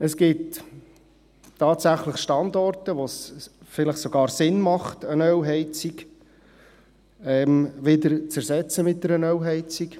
Es gibt tatsächlich Standorte, wo es tatsächlich Sinn macht, eine Ölheizung wieder durch eine Ölheizung zu ersetzen.